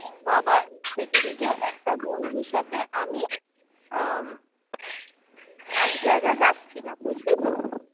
বাবা সেদিনকে একটা বন্ধুর সাথে আমি আহ এক জায়গায় যাচ্ছিলাম বুঝলি তো